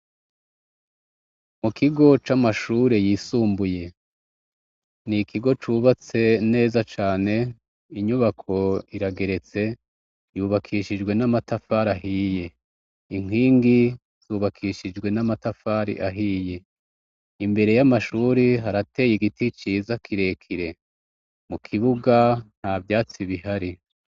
Mu kigo c'amashure yisumbuye. Ni ikigo cubatse neza cane, inyubako irageretse, yubakishijwe n'amatafari ahiye. Inkingi zubakishijwe n'amatafari ahiye. Imbere y'amashure harateye igiti ciza kirekire. Mu kibuga nta vyatsi bihari.